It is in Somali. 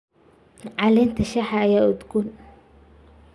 Caleenta shaaha ayaa udgoon.